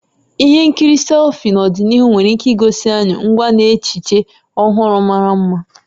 Ihe nkiri sci-fi n'ọdịnihu nwere ike igosi anyị ngwa na echiche ọhụrụ mara mma.